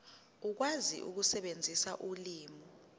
ukwazi ukusebenzisa ulimi